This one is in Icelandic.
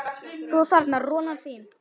Þú þarna, rolan þín.